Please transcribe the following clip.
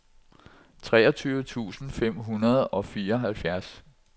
treogtyve tusind fem hundrede og fireoghalvfjerds